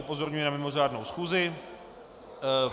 Upozorňuji na mimořádnou schůzi.